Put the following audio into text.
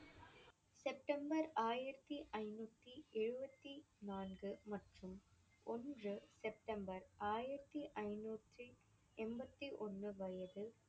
September ஆயிரத்தி ஐந்நூத்தி எழுவத்தி நான்கு மற்றும் ஒன்று செப்டம்பர் ஆயிரத்தி ஐந்நூற்றி எண்பத்தி ஒண்ணு வயது.